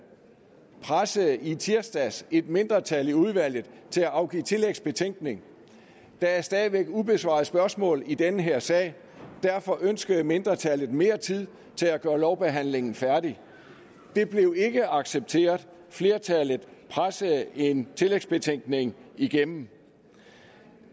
pressede i tirsdags et mindretal i udvalget til at afgive tillægsbetænkning der er stadig væk ubesvarede spørgsmål i den her sag og derfor ønskede mindretallet mere tid til at gøre lovbehandlingen færdig det blev ikke accepteret flertallet pressede en tillægsbetænkning igennem